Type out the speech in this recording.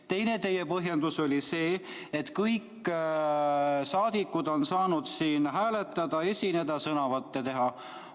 Teine teie põhjendus oli see, et kõik saadikud on saanud siin hääletada, esineda, sõnavõtte teha.